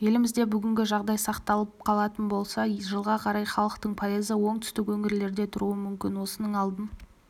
елімізде бүгінгі жағдай сақталып қалатын болса жылға қарай халықтың пайызы оңтүстік өңірлерде тұруы мүмкін осының алдын